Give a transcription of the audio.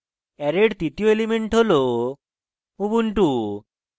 array এর তৃতীয় element হল ubuntu